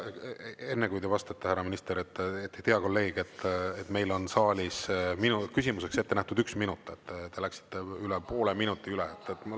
Enne kui te vastate, minister, hea kolleeg, meil on saalis minu küsimuseks ette nähtud üks minut, te läksite üle poole minuti üle.